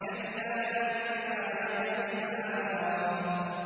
كَلَّا لَمَّا يَقْضِ مَا أَمَرَهُ